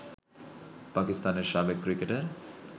পাকিস্তানের সাবেক ক্রিকেটার